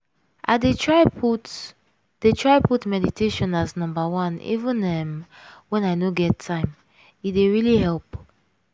i dey try put dey try put meditation as number oneeven um….when i no get time - e dey really help